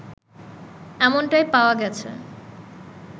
এমনটাই পাওয়া গেছে